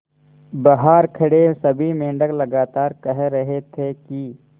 बहार खड़े सभी मेंढक लगातार कह रहे थे कि